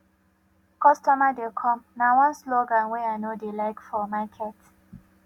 customer dey come na one slogan wey i no dey like for market